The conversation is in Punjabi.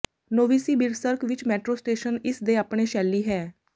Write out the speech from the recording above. ਨੋਵਸਿਬਿਰ੍ਸ੍ਕ ਵਿੱਚ ਮੈਟਰੋ ਸਟੇਸ਼ਨ ਇਸ ਦੇ ਆਪਣੇ ਸ਼ੈਲੀ ਹੈ